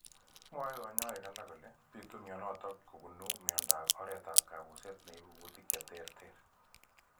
Mwoe kanyoik alake kole bitu mionotok kobun miondop oretab kabuset neibu kutik cheterter